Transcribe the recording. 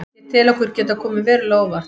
Ég tel okkur geta komið verulega á óvart.